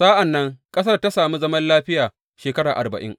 Sa’an nan ƙasar ta sami zaman lafiya shekara arba’in.